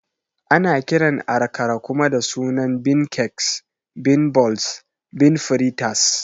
Ana kiran Akara kuma da sunan Bean Cakes, Bean Balls, Bean Fritas